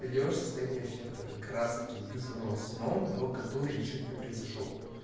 идёшь состояние эффекта как раз-таки вызванного сном но которые ещё не произошёл